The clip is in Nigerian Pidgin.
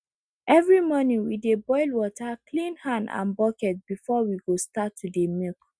every morning we dey boil water clean hand and bucket before we go start to dey milk